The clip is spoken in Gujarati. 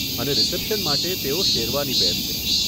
અને રીસેપ્શન માટે, તેઓ શેરવાની પહેરશે.